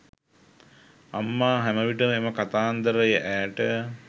අම්මා හැමවිටම එම කතාන්දරය ඈට